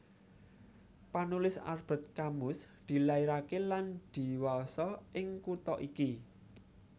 Panulis Albert Camus dilairaké lan dhiwasa ing kutha iki